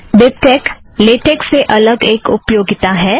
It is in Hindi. बिबटेक लेटेक से अलग एक उपयोगिता है